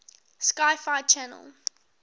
sci fi channel